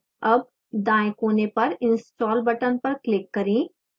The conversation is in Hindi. अब दाएं कोने पर install button पर click करें